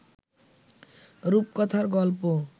রূপকথার গল্প